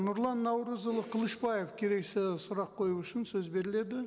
нұрлан наурызұлы қылышбаев келесі сұрақ қою үшін сөз беріледі